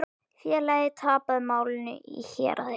Félagið tapaði málinu í héraði.